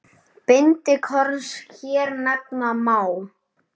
Bindi korns hér nefna má.